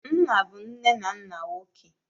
Nna bụ nne na nna nwoke.